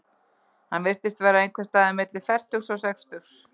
Hann virtist vera einhvers staðar milli fertugs og sextugs.